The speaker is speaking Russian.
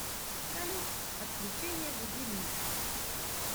салют отключение будильника